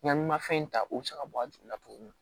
Ɲani mafɛn in ta o bi se ka bɔ a ju la togo min na